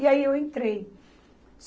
E aí eu entrei.